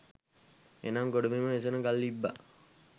එනම් ගොඩබිම වෙසෙන ගල් ඉබ්බා